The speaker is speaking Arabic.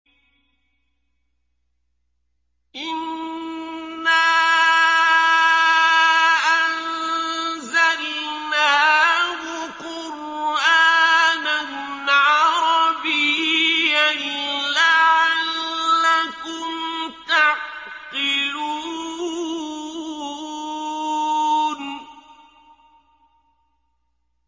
إِنَّا أَنزَلْنَاهُ قُرْآنًا عَرَبِيًّا لَّعَلَّكُمْ تَعْقِلُونَ